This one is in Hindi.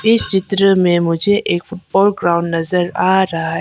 इस चित्र में मुझे एक फुटबॉल ग्राउंड नजर आ रहा है।